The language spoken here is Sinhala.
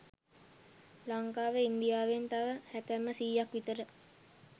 ලංකාව ඉන්දියාවෙන් තව හැතැප්ම සීයක් විතර